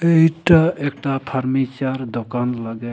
इटा एकटा फर्नीचर दोकान लगे।